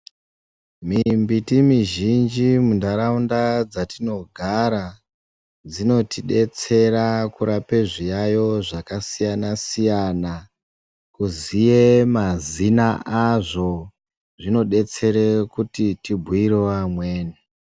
Mimbiti mizhinji mundaraunda dzatinogara dzinotidetsera kurape zviyaiyo zvakasiyana siyana kuziye mazina azvo zvinotidetsere kuti tibhuirewo amweni.